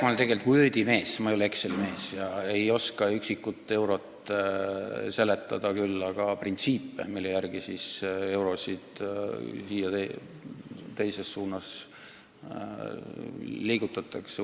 Ma olen tegelikult Wordi mees, ma ei ole Exceli mees ega ei oska iga üksiku euro kasutamist seletada, küll aga printsiipe, mille järgi eurosid ühes või teises suunas liigutatakse.